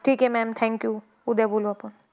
ठीक आहे ma'am thank you. उद्या बोलू आपण.